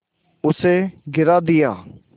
उसे गिरा दिया